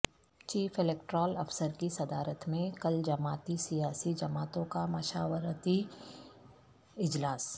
chief electoral افسر کی صدارت میں کل جماعتی سیاسی جماعتوں کا مشاورتی اجلاس